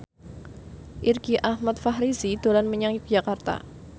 Irgi Ahmad Fahrezi dolan menyang Yogyakarta